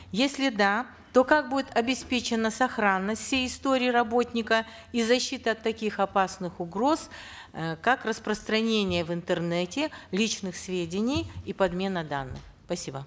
если да то как будет обеспечена сохранность всей истории работника и защита от таких опасных угроз э как распространение в интернете личных сведений и подмена данных